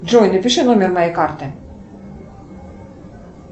джой напиши номер моей карты